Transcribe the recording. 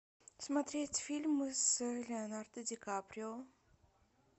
смотреть фильмы с леонардо ди каприо